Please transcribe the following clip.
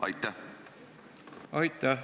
Aitäh!